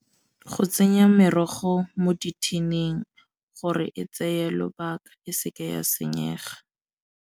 Go tsenya merogo mo di-tin-ing gore e tseye lobaka e seke ya senyega.